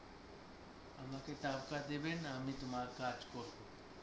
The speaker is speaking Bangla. আমাকে টাকা দেবেন আমি তোমার কাজ করব